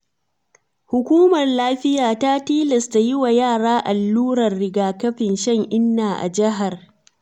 Hukumar lafiya ta tilasta yiwa yara allurar riga-kafin shan-inna a jihar.